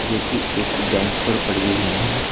जो की एक बेंच पर पड़ी हुई है।